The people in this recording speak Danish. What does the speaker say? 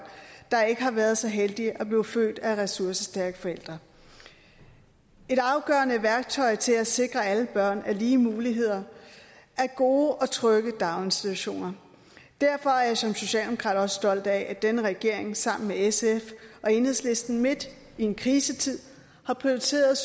der ikke har været så heldige at blive født af ressourcestærke forældre et afgørende værktøj til at sikre alle børn lige muligheder er gode og trygge daginstitutioner derfor er jeg som socialdemokrat også stolt af at denne regering sammen med sf og enhedslisten midt i en krisetid har prioriteret